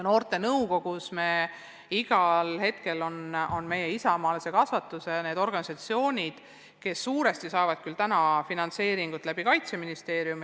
Noorte nõukogus on esindatud ka isamaalise kasvatuse organisatsioonid, keda suure osas finantseerib Kaitseministeerium.